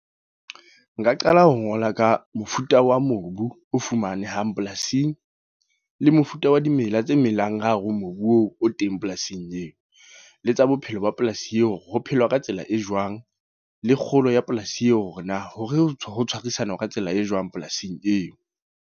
Nka qala ho ngola ka mofuta wa mobu, o fumanehang polasing. Le mofuta wa dimela tse melang ka hare ho mobu oo o teng polasing eo. Le tsa bophelo ba polasi eo, hore ho phelwa ka tsela e jwang. Le kgolo ya polasi eo, hore na hore ho tshwarisana ka tsela e jwang polasing eo.